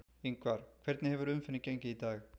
Ingvar, hvernig hefur umferðin gengið í dag?